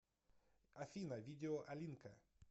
афина видео алинка